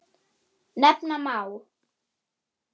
Nefna má